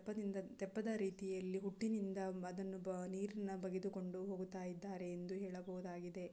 ತೆಪ್ಪದ ರೀತಿಯಲ್ಲಿ ಹುಟ್ಟಿನಿಂದ ಅದನ್ನು ನೀರನ್ನು ಬಗೆದುಕೊಂಡು ಹೋಗುತ್ತಾ ಇದಾರೆ ಎಂದು ಹೇಳಬಹುದಾಗಿದೆ .